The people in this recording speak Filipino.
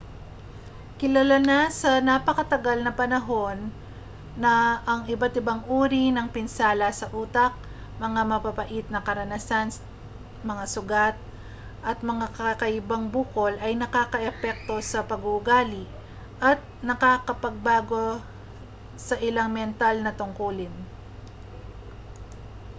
kilala na sa napakatagal na panahon na ang iba't ibang uri ng pinsala sa utak mga mapapait na karanasan mga sugat at mga kakaibang bukol ay nakaaapekto sa pag-uugali at nakapagpapabago sa ilang mental na tungkulin